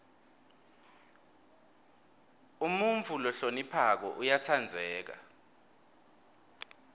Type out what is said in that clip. umuntfu lohloniphako uyatsandzeka